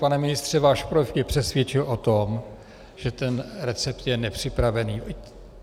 Pane ministře, váš projev mě přesvědčil o tom, že ten recept je nepřipravený.